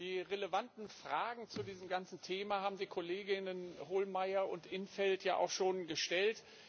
Die relevanten Fragen zu diesem ganzen Thema haben die Kolleginnen Hohlmeier und in't Veld schon gestellt.